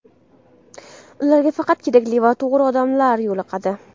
Ularga faqat kerakli va to‘g‘ri odamlar yo‘liqadi.